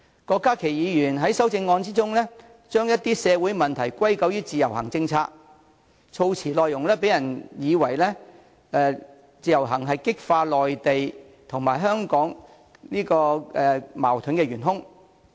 郭家麒議員在修正案中將一些社會問題歸咎於自由行政策，措辭內容讓人以為自由行是激化內地與香港矛盾的元兇。